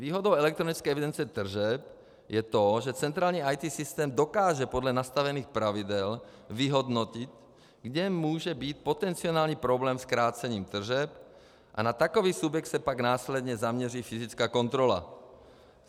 Výhodou elektronické evidence tržeb je to, že centrální IT systém dokáže podle nastavených pravidel vyhodnotit, kde může být potenciální problém s krácením tržeb, a na takový subjekt se pak následně zaměří fyzická kontrola.